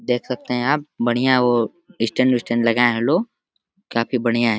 देख सकते हैं आप बढ़िया ओ स्टैन्ड विस्टैंड लगाए हैं लोग। काफी बढ़िया हैं।